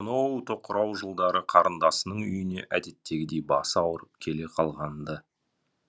соноу тоқырау жылдары қарындасының үйіне әдеттегідей басы ауырып келе қалған ды